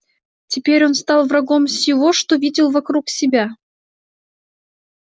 теперь он стал врагом всего что видел вокруг себя